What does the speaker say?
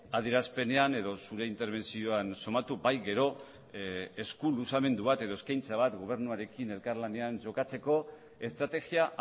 adierazpenean edo zure interbentzioan somatu bai gero esku luzamendu bat edo eskaintza bat gobernuarekin elkarlanean jokatzeko estrategia